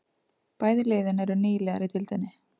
Bæði liðin eru nýliðar í deildinni